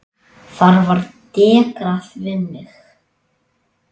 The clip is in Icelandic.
Þar var dekrað við mig.